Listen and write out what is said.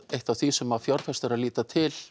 eitt af því sem fjárfestar líta til